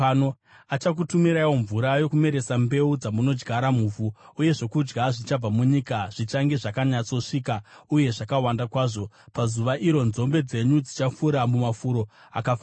Achakutumiraiwo mvura yokumeresa mbeu dzamunodyara muvhu, uye zvokudya zvichabva munyika zvichange zvakanyatsosvika uye zvakawanda kwazvo. Pazuva iro, nzombe dzenyu dzichafura mumafuro akafaranuka.